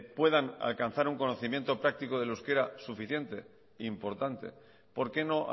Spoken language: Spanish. puedan alcanzar un conocimiento práctico del euskera suficiente e importante por qué no